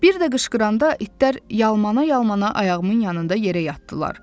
Bir də qışqıranda itlər yalmala-yalmala ayağımın yanında yerə yatdılar.